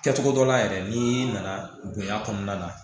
Kɛcogo dɔ la yɛrɛ n'i nana bonya kɔnɔna na